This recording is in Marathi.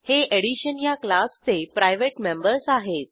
हे एडिशन ह्या क्लासचे प्रायव्हेट मेंबर्स आहेत